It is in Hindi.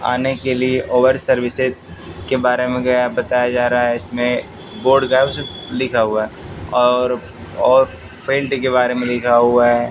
आने के लिए ओवर सर्विसेज के बारे में गया बताया जा रहा है इसमें बोर्ड का लिखा हुआ है और और फेल्ट के बारे में लिखा हुआ हैं।